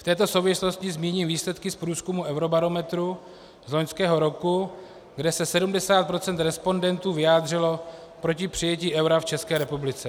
V této souvislosti zmíním výsledky z průzkumu Eurobarometru z loňského roku, kde se 70 % respondentů vyjádřilo proti přijetí eura v České republice.